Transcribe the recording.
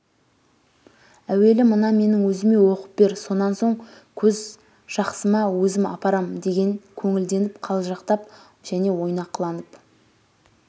әуелі мына менің өзіме оқып бер сонан соң көзжақсыма өзім апарам деген көңілденіп қалжақтап және ойнақыланып